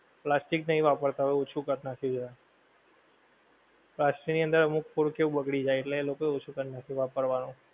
plastic નહીં વાપરતા હોએ હવે ઓછું કર નાખ્યું છે plastic ની અમુક food એ બગડી જાએ એટલે એ લોકો ઓછું કર નાખ્યું વાપરવાનુ